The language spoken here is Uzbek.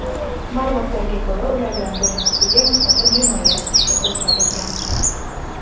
Ma’lumotlarga ko‘ra, ulardan birinchisiga nisbatan jinoyat ishi qo‘zg‘atilgan.